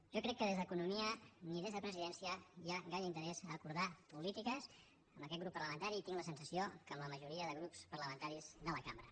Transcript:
jo crec que ni des d’economia ni des de presidència hi ha gaire interès a acordar polítiques amb aquest grup parlamentari i tinc la sensació que amb la majoria de grups parlamentaris de la cambra